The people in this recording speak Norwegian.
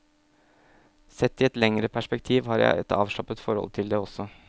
Sett i et lengre perspektiv har jeg et avslappet forhold til det også.